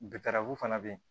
fana bɛ yen